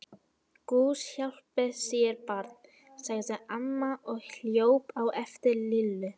Guð hjálpi þér barn! sagði amma og hljóp á eftir Lillu.